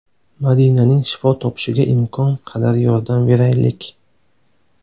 Madinaning shifo topishiga imkon qadar yordam beraylik!